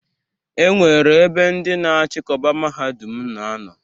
E nwere ebe ndị na-achịkọba Mahadum na anọ.